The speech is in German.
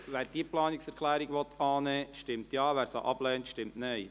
Wer diese Planungserklärung annehmen will, stimmt Ja, wer sie ablehnt, stimmt Nein.